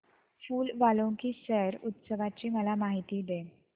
फूल वालों की सैर उत्सवाची मला माहिती दे